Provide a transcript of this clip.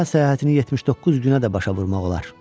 Dünya səyahətini 79 günə də başa vurmaq olar.